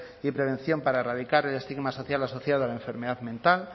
y prevención para erradicar el estigma social asociado a la enfermedad mental